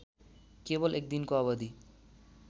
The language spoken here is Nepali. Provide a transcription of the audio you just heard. केवल एकदिनको अवधि